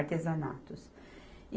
Artesanatos.